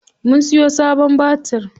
Mun siyo sabon batir.